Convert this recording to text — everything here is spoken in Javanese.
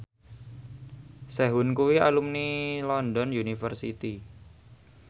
Sehun kuwi alumni London University